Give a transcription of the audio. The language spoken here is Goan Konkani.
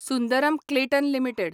Sundaram Clayton limited